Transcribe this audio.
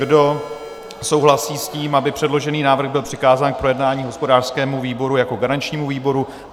Kdo souhlasí s tím, aby předložený návrh byl přikázán k projednání hospodářskému výboru jako garančnímu výboru?